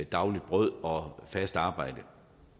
dagligt brød og fast arbejde